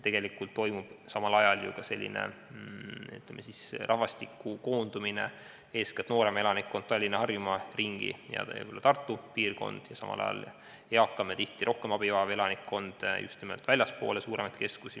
Tegelikult toimub ju ka rahvastiku koondumine: noorem elanikkond koondub eeskätt Tallinna ja Harjumaa ringi, ka Tartu piirkonda, seevastu eakam ja tihti rohkem abi vajav elanikkond jääb suurematest keskustest just nimelt väljapoole.